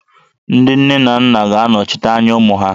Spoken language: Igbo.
Ndị nne na nna ga-anọchite anya ụmụ ha